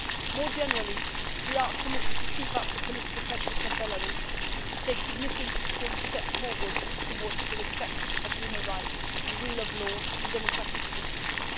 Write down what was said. More generally, we are committed to keeping up political pressure on Belarus to take a significant step forward towards respect for human rights, the rule of law and democratic principles.